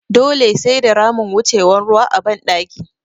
Dole sai da ramin wucewan ruwa a ban ɗaki